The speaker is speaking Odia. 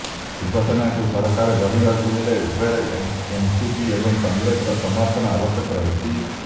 ଶିବସେନାକୁ ସରକାର ଗଢ଼ିବାକୁ ହେଲେ ଉଭୟ ଏନସିପି ଏବଂ କଂଗ୍ରେସର ସମର୍ଥନ ଆବଶ୍ୟକ ରହିଛି